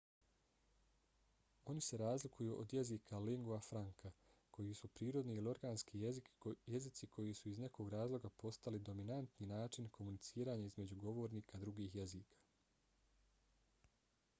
oni se razlikuju od jezika lingua franca koji su prirodni ili organski jezici koji su iz nekog razloga postali dominantni način komuniciranja između govornika drugih jezika